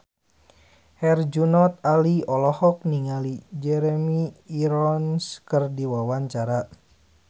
Herjunot Ali olohok ningali Jeremy Irons keur diwawancara